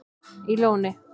í Lóni